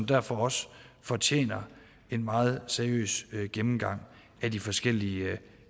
derfor også fortjener en meget seriøs gennemgang af de forskellige